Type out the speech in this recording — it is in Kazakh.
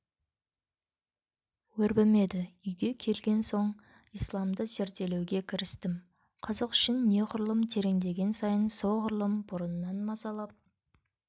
өрбімеді үйге келген соң исламды зерделеуге кірістім қызық үшін неғұрлым тереңдеген сайын соғұрлым бұрыннан мазалап